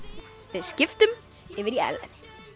við skiptum yfir á Ellen